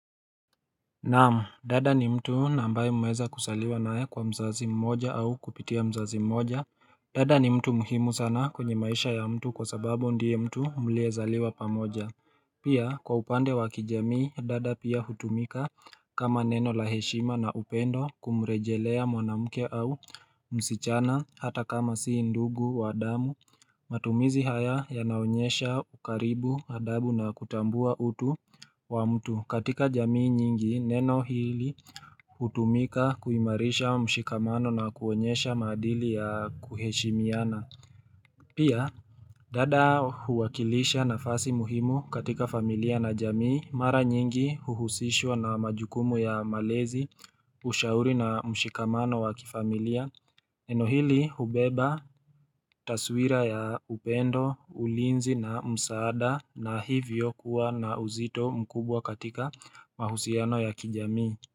Naam, dada ni mtu na ambaye mmeeza kuzaliwa naye kwa mzazi mmoja au kupitia mzazi mmoja. Dada ni mtu muhimu sana kwenye maisha ya mtu kwa sababu ndiye mtu mliezaliwa pamoja. Pia, kwa upande wa kijamii, dada pia hutumika kama neno la heshima na upendo kumrejelea mwanamuke au msichana hata kama si ndugu wa damu. Matumizi haya yanaonyesha ukaribu, adabu na kutambua utu wa mtu. Katika jamii nyingi, neno hili hutumika kuimarisha mshikamano na kuonyesha madili ya kuheshimiana. Pia, dada huwakilisha nafasi muhimu katika familia na jamii, mara nyingi huhusishwa na majukumu ya malezi, ushauri na mshikamano wa kifamilia. Neno hili hubeba, taswira ya upendo, ulinzi na msaada na hivyo kuwa na uzito mkubwa katika mahusiano ya kijamii.